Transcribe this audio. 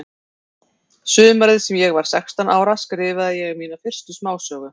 Sumarið sem ég var sextán ára skrifaði ég mína fyrstu smásögu.